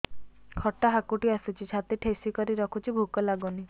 ଖଟା ହାକୁଟି ଆସୁଛି ଛାତି ଠେସିକରି ରଖୁଛି ଭୁକ ଲାଗୁନି